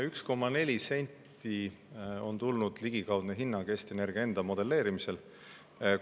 1,4 senti on olnud Eesti Energia enda modelleeritud ligikaudne hinnang.